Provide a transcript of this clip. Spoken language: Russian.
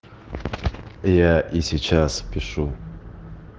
я и сейчас пишу